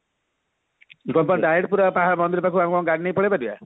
direct ପୁରା ପାହାଡ ମନ୍ଦିର ପାଖକୁ ଆମେ କଣ ଗାଡି ନେଇ ପଳେଈ ପାରିବା